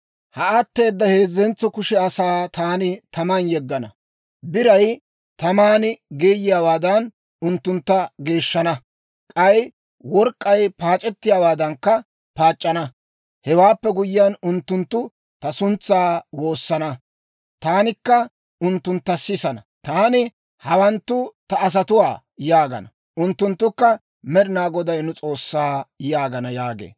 Ha atteeda heezzentso kushe asaa taani taman yeggana; biray taman geeyiyaawaadan, unttuntta geeshshana; k'ay work'k'ay paac'ettiyaawaadankka paac'c'ana. Hewaappe guyyiyaan, unttunttu ta suntsan woosana; taanikka unttuntta sisana. Taani, ‹Hawanttu ta asatuwaa› yaagana. Unttunttukka, ‹Med'inaa Goday nu S'oossaa› yaagana» yaagee.